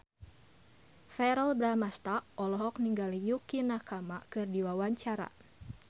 Verrell Bramastra olohok ningali Yukie Nakama keur diwawancara